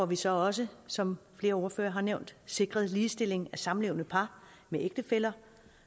vi så også som flere ordførere har nævnt sikret ligestilling af samlevende par med ægtefæller